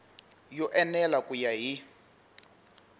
yo enela ku ya hi